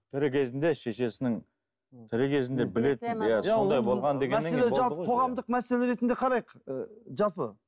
тірі кезінде шешесінің тірі кезінде білетін иә сондай болған деген қоғамдық мәселе ретінде қарайық ы жалпы